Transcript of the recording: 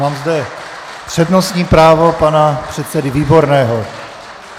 Mám zde přednostní právo pana předsedy Výborného.